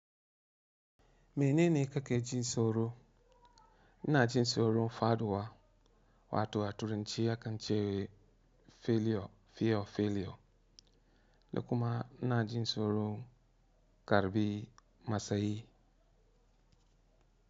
Menene kake jin soro? Ina jin soron Faduwa wato a Turance yakan ce Filio Fio Filio, da kuma ina jin soron Karɓi Masayi.